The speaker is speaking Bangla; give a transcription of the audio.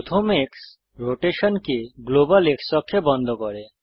প্রথম এক্স রোটেশনকে গ্লোবাল X অক্ষে বন্ধ করে